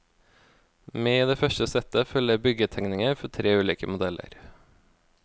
Med i det første settet følger byggetegninger for tre ulike modeller.